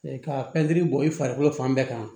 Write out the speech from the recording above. ka pɛntiri bɔ i farikolo fan bɛɛ kan